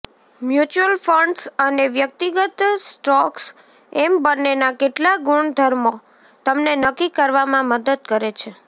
mutual funds અને વ્યક્તિગત stocks એમ બન્નેના કેટલાક ગુણધર્મો તમને નક્કી કરવામાં મદદ કરે છે